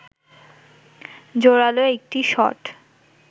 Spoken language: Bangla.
জোরালো একটি শট